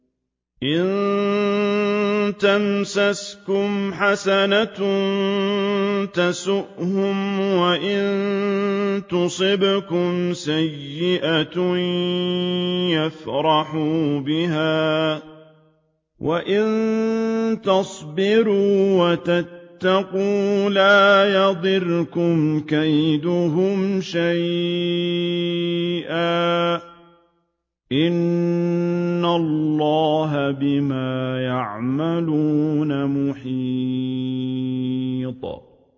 إِن تَمْسَسْكُمْ حَسَنَةٌ تَسُؤْهُمْ وَإِن تُصِبْكُمْ سَيِّئَةٌ يَفْرَحُوا بِهَا ۖ وَإِن تَصْبِرُوا وَتَتَّقُوا لَا يَضُرُّكُمْ كَيْدُهُمْ شَيْئًا ۗ إِنَّ اللَّهَ بِمَا يَعْمَلُونَ مُحِيطٌ